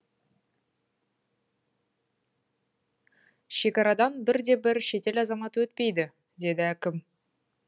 шекарадан бір де бір шетел азаматы өтпейді деді әкім